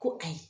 Ko ayi